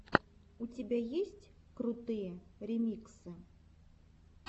у тебя есть крутые ремиксы